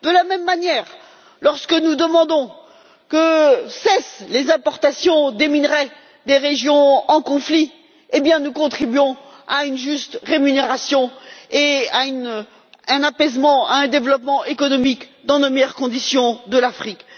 De la même manière, lorsque nous demandons que cessent les importations des minerais des régions en conflit, nous contribuons à une juste rémunération, à un apaisement et à un développement économique, dans de meilleures conditions, de l'Afrique.